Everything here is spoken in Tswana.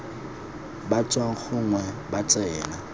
ba tswang gongwe ba tsena